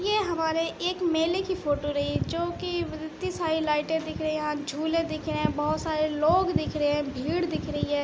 ये हमारे एक मेले की फोटो रही है जोकि ऐती सारी लाइटे दिख रही है। यहाँ झूले दिख रहे है। बहोत सारे लोग दिख रहे हैं। भीड़ दिख रही हैं।